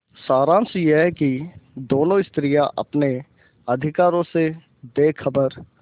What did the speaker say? सारांश यह कि दोनों स्त्रियॉँ अपने अधिकारों से बेखबर